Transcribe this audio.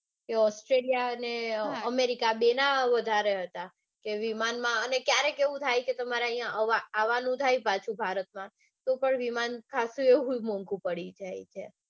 Australia ને america ના આ બે ના વધારે હતા કે વિમાનમાં અને ક્યારેક એવું થાય કે તમારે અઇયા આવાનું થાય પાછું ભારતમાં તો પણ વિમાન ખાસું એવું મોંગુ પડી જાય છે.